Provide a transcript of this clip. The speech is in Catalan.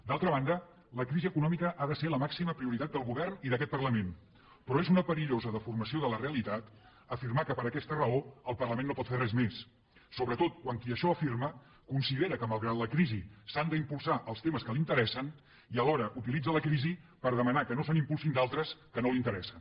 d’altra banda la crisi econòmica ha de ser la màxima prioritat del govern i d’aquest parlament però és una perillosa deformació de la realitat afirmar que per aquesta raó el parlament no pot fer res més sobretot quan qui això afirma considera que malgrat la crisi s’han d’impulsar els temes que l’interessen i alhora utilitza la crisi per demanar que no se n’impulsin d’altres que no l’interessen